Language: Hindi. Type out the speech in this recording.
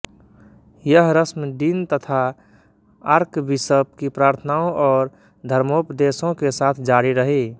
यह रस्म डीन तथा आर्कबिशप की प्रार्थनाओं और धर्मोपदेशों के साथ जारी रही